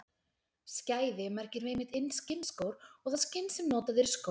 Skæði merkir einmitt skinnskór og það skinn sem notað er í skó.